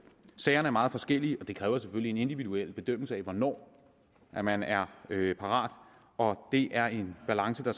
sagerne er meget forskellige og det kræver selvfølgelig en individuel bedømmelse af hvornår man man er parat og det er en balance der